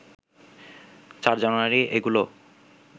৪ জানুয়ারি এগুলো